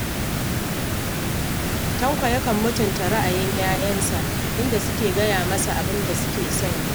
Tanko yakan mutunta ra'ayin ‘yayansa, idan suka gaya masa abin da suke son yi